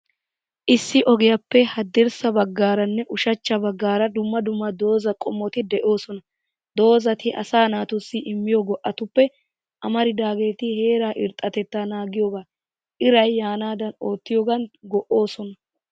Issi ogiyaappe haddirssa naggaaranne ushachcha baggaara dumma dumma dozaa qommoti de'oosona. Dozati asaa naatussi immiyo go'atuppe amaridaageetl, heeraa irxxatettaa naagiyoogaa, iray yaanaadan oottiyoogan go''osona.